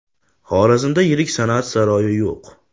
Xorazmda yirik san’at saroyi yo‘q.